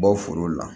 Bɔ foro la